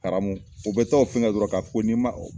Haramu o bɛ taa o fɛn kɛ dɔrɔn k'a fɔ ko n'i man o